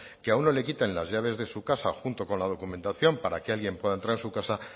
que a uno le quiten las llaves de su casa junto con la documentación para que alguien pueda entrar en su casa